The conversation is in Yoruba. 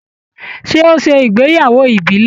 Ṣé o ṣe ìgbéyàwó ìbílẹ̀?